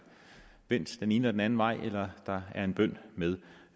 vendt den ene eller den anden vej eller der er en bøn med